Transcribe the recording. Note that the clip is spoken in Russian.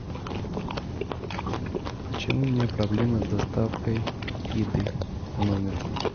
почему у меня проблемы с доставкой еды в номер